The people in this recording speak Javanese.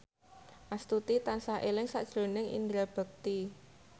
Astuti tansah eling sakjroning Indra Bekti